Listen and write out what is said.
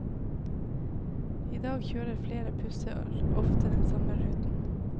I dag kjører flere busser ofte den samme ruten.